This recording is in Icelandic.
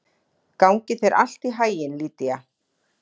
Gangi þér allt í haginn, Lýdía.